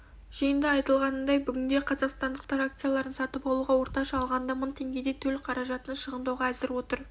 жиында айтылғанындай бүгінде қазақстандықтар акцияларын сатып алуға орташа алғанда мың теңгедей төл қаражатын шығындауға әзір отыр